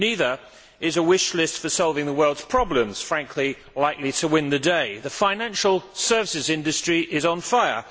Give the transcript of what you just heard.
Neither is a wish list for solving the world's problems frankly likely to win the day. The financial services industry is on fire.